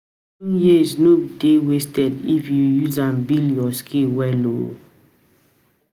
Schooling years no dey wasted if you use am build your skills well. um